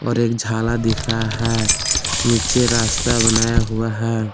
और एक झाला दिख रहा है नीचे रास्ता बनाया हुआ है।